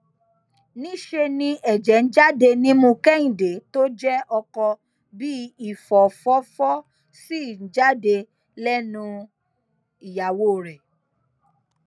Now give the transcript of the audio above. níṣẹ ni ẹjẹ ń jáde nímú kẹhìndé tó jẹ ọkọ bíi ìfọfọfọ ṣì ń jáde lẹnu ìyàwó rẹ